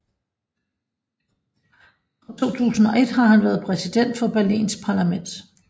Fra 2001 har han været præsident for Berlins parlament